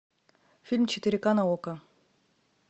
фильм четыре ка на окко